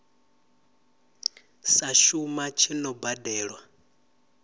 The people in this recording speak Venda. sa shuma tshi no badelwa